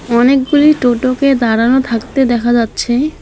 অনেকগুলি টোটোকে দাঁড়ানো থাকতে দেখা যাচ্ছে।